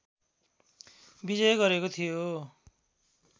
विजय गरेको थियो